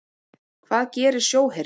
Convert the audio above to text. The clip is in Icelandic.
Hvað gerir sjóherinn?